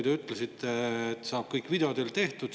Te ütlesite, et saab kõik video teel tehtud.